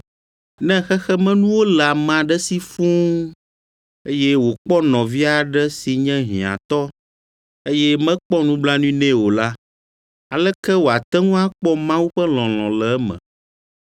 Ne xexemenuwo le ame aɖe si fũu, eye wòkpɔ nɔvia aɖe si nye hiãtɔ, eye mekpɔ nublanui nɛ o la, aleke woate ŋu akpɔ Mawu ƒe lɔlɔ̃ le eme?